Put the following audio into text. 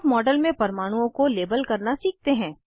अब मॉडल में परमाणुओं को लेबल करना सीखते हैं